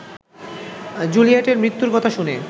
জুলিয়েটের মৃত্যুর কথা শুনে